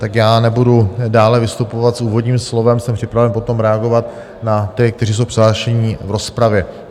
Tak já nebudu dále vystupovat s úvodním slovem, jsem připraven potom reagovat na ty, kteří jsou přihlášeni v rozpravě.